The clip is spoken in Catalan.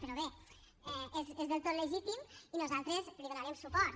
però bé és del tot legítim i nosaltres li donarem suport